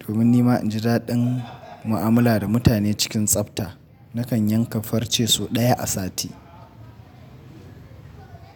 Domin ni ma in ji daɗin mu'amala da mutane cikin tsafta, nakan yanka farce sau ɗaya a sati.